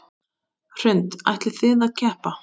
Hrund: Ætlið þið að keppa?